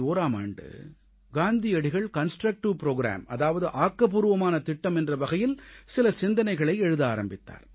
1941ஆம் ஆண்டு காந்தியடிகள் constructive programme அதாவது ஆக்கப்பூர்வமான திட்டம் என்ற வகையில் சில சிந்தனைகளை எழுத ஆரம்பித்தார்